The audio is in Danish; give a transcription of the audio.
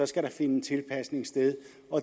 skal der finde en tilpasning sted